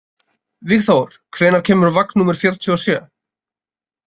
Vígþór, hvenær kemur vagn númer fjörutíu og sjö?